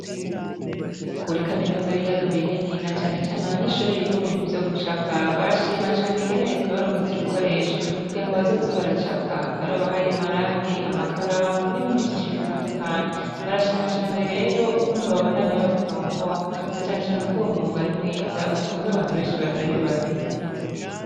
Kuri kaminuza y'ibiyaga binini na cane cane abanyeshure biga mu bintu vyo gucapa barashima cane ingene reta yabaronkeje ibikoresho kugira ngo bazoze baracapa, barabahaye amarangi, amakaramu, n'ibindi vyinshi bitandukanye. Barashima cane rero ukuntu babandanya babafata mu mugongo na cane cane ko uwo mwuga ari mwiza utunze abantu benshi batari bake.